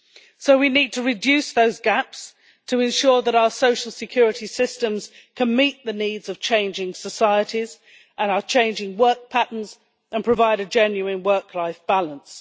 So we need to reduce those gaps to ensure that our social security systems can meet the needs of changing societies and our changing work patterns and provide a genuine work life balance.